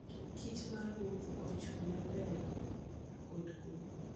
Kich ma ruoth ochung'ne ber kod kuwe.